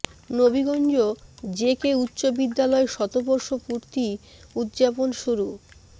Nabiganj J K উচ্চ বিদ্যালয় শতবর্ষ পূর্তি উদ্যাপন শুরু